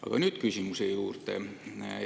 Aga nüüd küsimuse juurde.